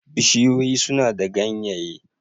Bishiyoyi suna da ganyaye